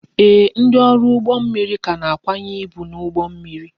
Ee, ndị ọrụ ụgbọ mmiri ka na-akwanye ibu n'ụgbọ mmiri